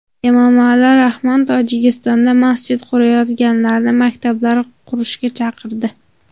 Emomali Rahmon Tojikistonda masjid qurayotganlarni maktablar qurishga chaqirdi.